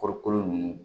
Kɔɔrikolo ninnu